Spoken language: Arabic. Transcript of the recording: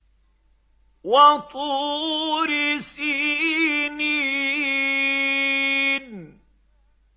وَطُورِ سِينِينَ